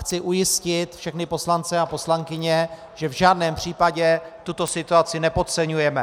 Chci ujistit všechny poslance a poslankyně, že v žádném případě tuto situaci nepodceňujeme.